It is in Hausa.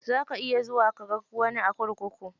Za ka iya zuwa kaga wani a kurkuku.